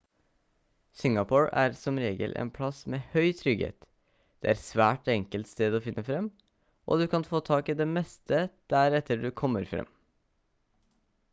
singapore er som regel en plass med høy trygghet det er svært enkelt sted å finne frem og du kan få tak i det meste der etter du kommer frem